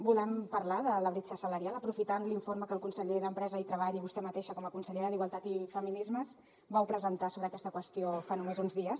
volem parlar de la bretxa salarial aprofitant l’informe que el conseller d’empresa i treball i vostè mateixa com a consellera d’igualtat i feminismes vau presentar sobre aquesta qüestió fa només uns dies